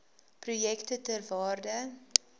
projekte ter waarde